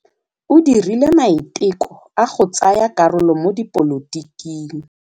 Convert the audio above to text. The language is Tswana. O dirile maitekô a go tsaya karolo mo dipolotiking.